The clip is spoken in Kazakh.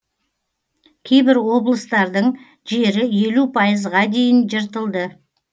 кейбір облыстардың жері елу пайызға дейін жыртылды